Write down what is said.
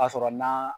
Ka sɔrɔ na